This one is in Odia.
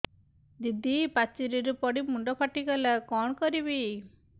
ଦିଦି ପାଚେରୀରୁ ପଡି ମୁଣ୍ଡ ଫାଟିଗଲା କଣ କରିବି